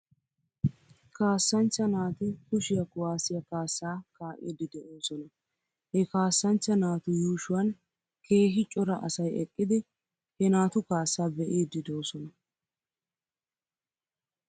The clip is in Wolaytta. Kaasanchcha naati kushiyaa kuwaasiyaa kaasaa kaa'iiddi de'oosona. He kaasanchcha naatu yuushuwan keehi cora asay eqqidi he naatu kaassaa be'iidi doosona.